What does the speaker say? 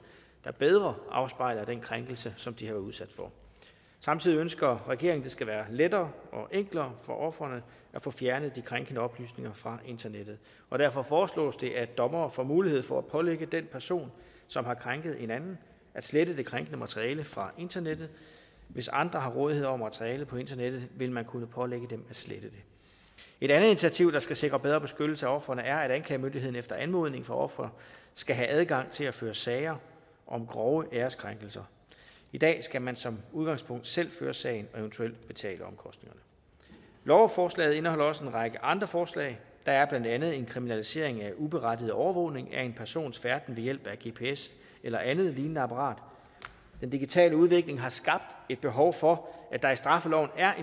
der bedre afspejler den krænkelse som de har været udsat for samtidig ønsker regeringen at det skal være lettere og enklere for ofrene at få fjernet de krænkende oplysninger fra internettet derfor foreslås det at dommere får mulighed for at pålægge den person som har krænket en anden at slette det krænkende materiale fra internettet hvis andre har rådighed over materialet på internettet vil man kunne pålægge dem at slette det et andet initiativ der skal sikre bedre beskyttelse af ofrene er at anklagemyndigheden efter anmodning fra offeret skal have adgang til at føre sager om grove æreskrænkelser i dag skal man som udgangspunkt selv føre sagen og eventuelt betale omkostningerne lovforslaget indeholder også en række andre forslag der er blandt andet en kriminalisering af uberettiget overvågning af en persons færden ved hjælp af gps eller andet lignende apparat den digitale udvikling har skabt et behov for at der i straffeloven er